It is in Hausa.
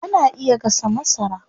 Ana iya gasa masara.